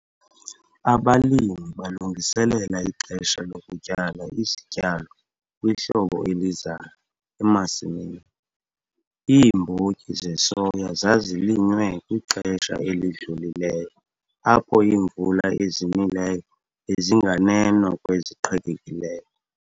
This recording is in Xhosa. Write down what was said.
Abalimi balungiselela ixesha lokutyala isityalo kwihlobo elizayo emasimini. Iimbotyi zesoya zazilinywe kwixesha elidlulileyo apho iimvula ezinileyo bezinganeno kweziqhelekileyo.